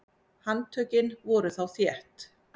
Handtökin voru þá þétt.